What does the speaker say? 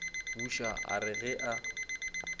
buša a re ge a